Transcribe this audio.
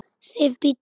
SIF, BÍDDU!